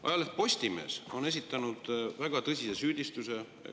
Ajaleht Postimees on esitanud väga tõsise süüdistuse.